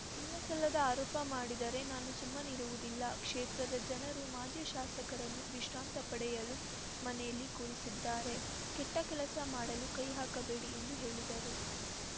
ಇಲ್ಲಸಲ್ಲದ ಆರೋಪ ಮಾಡಿದರೆ ನಾನು ಸುಮ್ಮನಿರುವುದಿಲ್ಲ ಕ್ಷೇತ್ರದ ಜನರು ಮಾಜಿ ಶಾಸಕರನ್ನು ವಿಶ್ರಾಂತ ಪಡೆಯಲು ಮನೆಯಲ್ಲಿ ಕೂರಿಸಿದ್ದಾರೆ ಕೆಟ್ಟಕೆಲಸ ಮಾಡಲು ಕೈ ಹಾಕಬೇಡಿ ಎಂದು ಹೇಳಿದರು